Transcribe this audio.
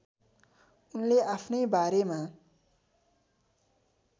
उनले आफ्नै बारेमा